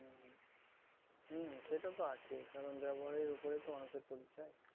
হম সেটা তো আছে কারণ ব্যবহারের ওপরে তো মানুষের পরিচয়